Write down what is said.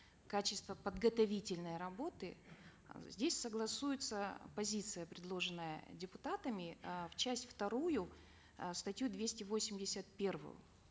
качества подготовительной работы здесь согласуются позиция предложенная депутатами э в часть вторую э статью двести восемьдесят первую